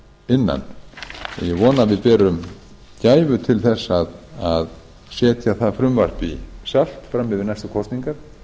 innan ég vona að við berum gæfu til þess að setja það frumvarp í salt framyfir næstu kosningar